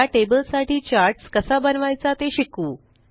या टेबल साठी चार्ट्स कसा बनवायचा ते शिकू